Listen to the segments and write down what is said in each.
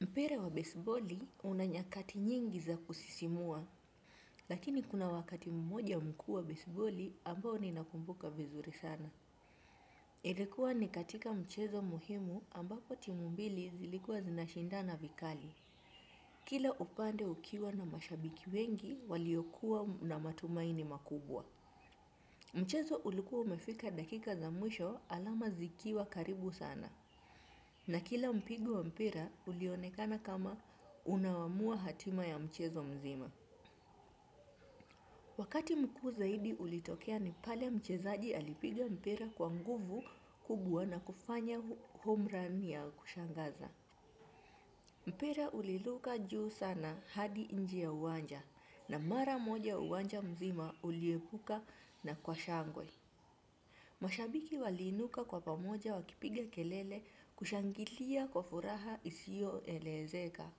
Mpira wa besiboli una nyakati nyingi za kusisimua, lakini kuna wakati mmoja umekua besiboli ambao ninakumbuka vizuri sana. Ilikuwa ni katika mchezo muhimu ambapo timu mbili zilikua zinashindana vikali. Kila upande ukiwa na mashabiki wengi waliokuwa na matumaini makubwa. Mchezo ulikuwa umefika dakika za mwisho alama zikiwa karibu sana. Na kila mpigo wa mpira ulionekana kama unaamua hatima ya mchezo mzima. Wakati mkuu zaidi ulitokea ni pale mchezaji alipiga mpira kwa nguvu kubwa na kufanya home run ya kushangaza. Mpira uliruka juu sana hadi nje ya uwanja na mara moja uwanja mzima uliepuka na kwa shangwe. Mashabiki waliinuka kwa pamoja wakipiga kelele kushangilia kwa furaha isio elezeka.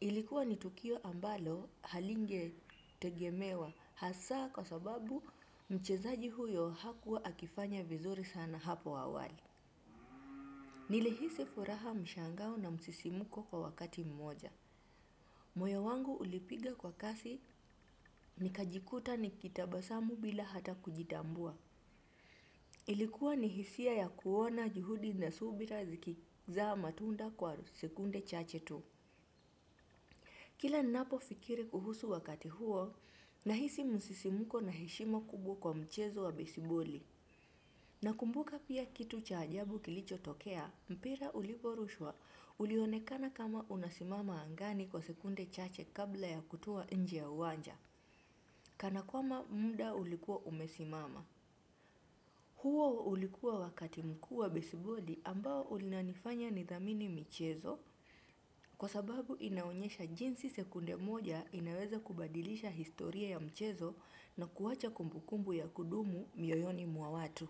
Ilikuwa ni tukio ambalo halingetegemewa hasa kwa sababu mchezaji huyo hakuwa akifanya vizuri sana hapo awali. Nilihisi furaha mshangao na msisimuko kwa wakati mmoja. Moyo wangu ulipiga kwa kasi nikajikuta nikitabasamu bila hata kujitambua. Ilikuwa ni hisia ya kuona juhudi na subira zikizaa matunda kwa sekunde chache tu. Kila ninapo fikiri kuhusu wakati huo, nahisi msisimuko na heshima kubwa kwa mchezo wa besiboli. Nakumbuka pia kitu cha ajabu kilicho tokea, mpira uliporushwa ulionekana kama unasimama angani kwa sekunde chache kabla ya kutua nje ya uwanja, kana kwamba muda ulikuwa umesimama. Huo ulikuwa wakati mkuu wa besiboli ambao unanifanya nithamini michezo kwa sababu inaonyesha jinsi sekunde moja inaweza kubadilisha historia ya mchezo na kuwacha kumbukumbu ya kudumu mioyoni mwa watu.